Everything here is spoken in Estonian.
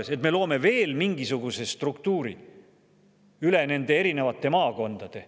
Nii et me loome veel mingisuguse struktuuri üle nende erinevate maakondade.